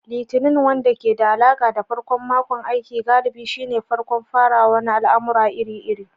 Litinin, wanda ke da alaƙa da farkon makon aiki, galibi shine farkon farawa na al'amura iri-iri.